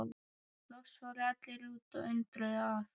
Loks fóru allir út og undruðust að